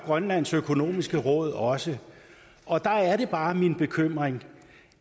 grønlands økonomiske råd også og der er det bare min bekymring